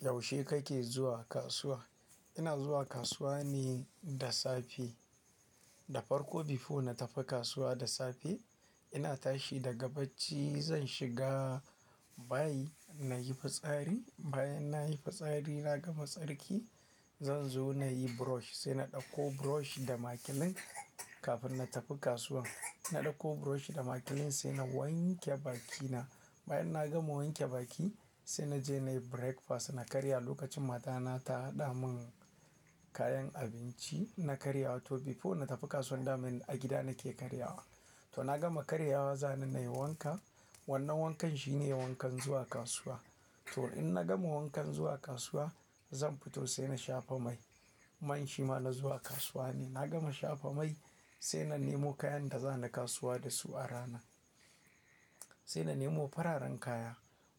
Yaushe kake zuwa kasuwa? Ina zuwa kasuwa ne da safe. Da farko before na tafi kasuwa da safe, ina tashi daga bacci, zan shiga bayi nayi fitsari. Bayan nayi fitsari na gama tsarki, zan zo nayi brush, sai na ɗauko brush da makilin kafin na tafi kasuwan. Na ɗauko brush da makilin sai na wanke bakina. Bayan na gama wanke baki sai naje nayi breakfast. Na karya lokacin matana ta haɗa mun kayan abinci. Na karya to before na tafi kasuwa dama a gida nake karya wa. To na gama karya wa, sani nayi wanka. Wannan wankan shine wankan zuwa kasuwa. To in na gama wankan zuwa kasuwa zan fito sai na shafa mai. Man shima na zuwa kasuwa ne. Na gama shafa mai sai na nemo kayan da za na kasuwa da su a ranar. Sai na nemo fararen kaya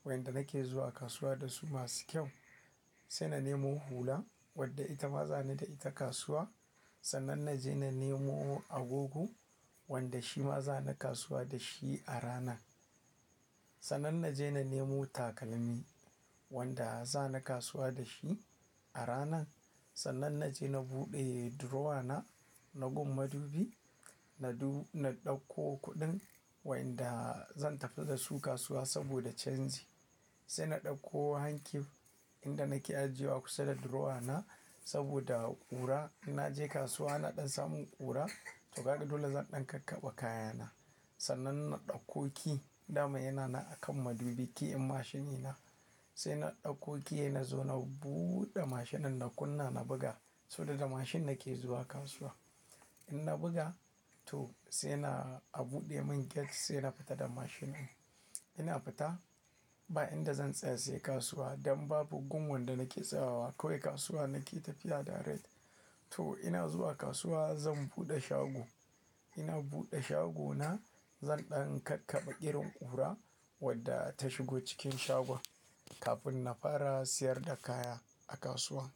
wanda nake zuwa kasuwa da su masu kyau. Sai na nemo hula wadda ita ma za ni da ita kasuwa. Sannan naje na nemo agogo wanda shima za na kasuwa da shi a rana. Sannan naje na nemo takalmi wanda za na kasuwa da shi a rana. Sannan naje na buɗe durowa na, na gun madubi, na du-- na ɗauko kuɗin wanda zan tafi da su kasuwa saboda canji. Sai na ɗauko hankif inda nake ajiye wa kusa da durowa na saboda ƙura. In naje kasuwa na ɗan samu ƙura, toh gaɗe dole zan ɗan kakkaba kayana. Sannan na ɗauko key dama yana na a kan madubi keyin mashini na. Sai na ɗauko key na zo na buɗe mashinan na kunna na buga, saboda da mashin nake zuwa kasuwa. In na buga tolo sai na a buɗe mun gate sai na fita da mashinan. Ina fita bayin da zan tsaya sai kasuwa. Dan babu gun wanda nake tsayawa kawai kasuwa nake tafiya direct. To ina zuwa kasuwa zan buɗe shago. Ina buɗe shagona zan ɗan kakkaba ƙirin ƙura wadda ta shigo cikin shagon kafin na fara siyar da kaya a kasuwa.